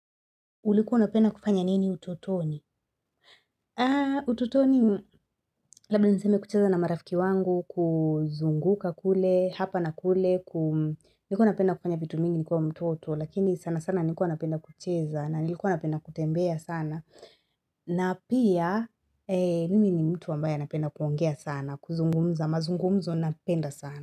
Ulikuwa napenda kupanya nini ututoni? Aa ututoni labda niseme kucheza na marafiki wangu kuzunguka kule hapa na kule kum likuwa napenda kufanya vitu mingi nikiwa mtoto lakini sana sana nikuwa napenda kucheza na nikiwa napenda kutembea sana na pia mimi ni mtu wambaye napenda kuongea sana kuzungumza mazungumzo napenda sana.